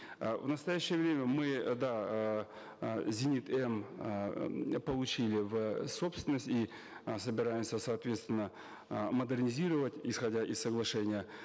э в настоящее время мы э да эээ зенит м эээ получили в собственность и э собираемся соответственно э модернизировать исходя из соглашения